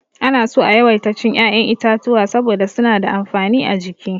Ana so a yawaita cin ya'yan itatuwa saboda suna da amfani a jiki.